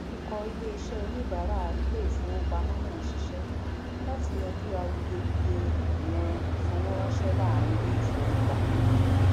ìkọ iṣẹ oníbárà iléìfowópamọ náà sisẹ láti yanjú awuyewuye ìkùnà ìfowóránsẹ láàrín iléìfowópamọ